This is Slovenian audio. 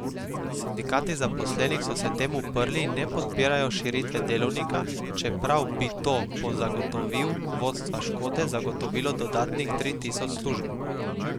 Sindikati zaposlenih so se temu uprli in ne podpirajo širitve delovnika, čeprav bi to po zagotovil vodstva Škode zagotovilo dodatnih tri tisoč služb.